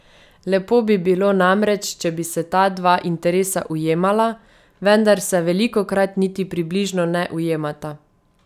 Lepo bi bilo namreč, če bi se ta dva interesa ujemala, vendar se velikokrat niti približno ne ujemata.